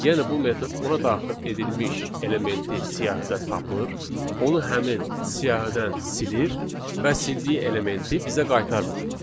Yəni bu metod ona daxil edilmiş elementi siyahıda tapır, onu həmin siyahıdan silir və sildiyi elementi bizə qaytarmır.